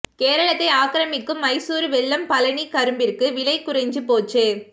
கேரளத்தை ஆக்கிரமிக்கும் மைசூரு வெல்லம் பழநி கரும்பிற்கு விலை குறைஞ்சு போச்சு